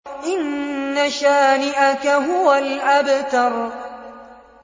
إِنَّ شَانِئَكَ هُوَ الْأَبْتَرُ